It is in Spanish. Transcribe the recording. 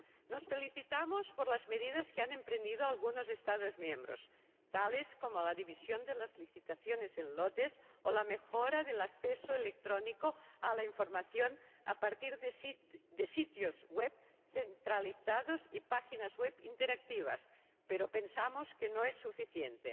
Nos felicitamos por las medidas que han emprendido algunos Estados miembros, tales como la división de las licitaciones en lotes o la mejora del acceso electrónico a la información, a partir de sitios web centralizados y páginas web interactivas, pero pensamos que no es suficiente.